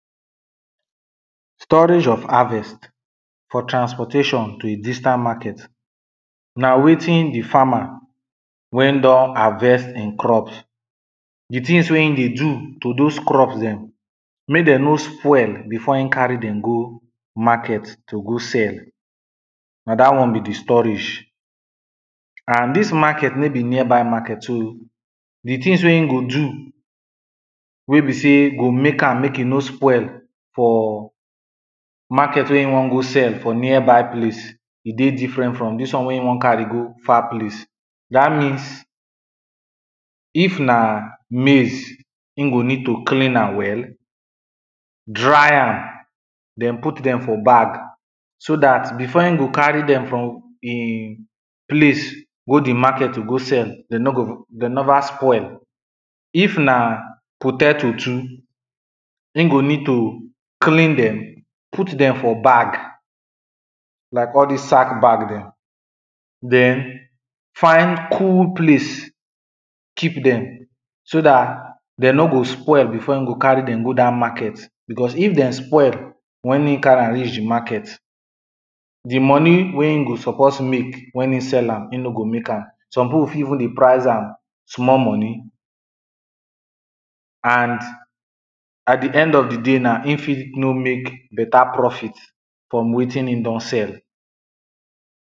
storage of harvest for transportation to a distant market, na wetin the farmer, wey don harvest in crops. the tings wey in dey do to dose crops dem, mek dem no spoil, before in carry dem go market to go sell. na dat one be the storage. and dis market no be nearby market to the tings wey in go do, wey be sey go mek am, mek e no spoil for, market wey in wan go sell for nearby place, e dey different from dis one wey in wan carry go far place dat means, if na maize, in go need to clean am well, dry am, den put dem for bag, so dat before in go carry dem from the place, go the market go sell, de no go even de never spoil. if na, potato too. in go need to, clean dem, put dem for bag like all dis sack bag dem. den, find cool place keep dem, so dat, dem no go spoil, before in go carry dem go dat market because if dem spoil, wen e carry am reach the market. the money wey in go suppose mek wen in sell, in no go mek am, some pipo fit even dey price am small money and at the end of the day na, in fit no mek better profit, from wetin in don sell.